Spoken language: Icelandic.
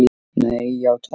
Nei, játaði